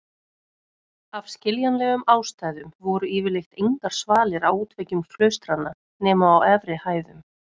Af skiljanlegum ástæðum voru yfirleitt engar svalir á útveggjum klaustranna nema á efri hæðum.